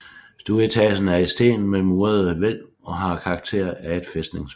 Stueetagen er i sten med murede hvælv og har karakter af et fæstningsværk